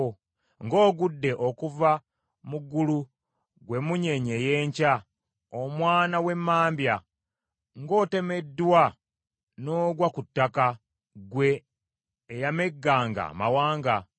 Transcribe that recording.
Ng’ogudde okuva mu ggulu, ggwe emunyeenye ey’enkya, omwana w’emambya! Ng’otemeddwa n’ogwa ku ttaka, ggwe eyamegganga amawanga!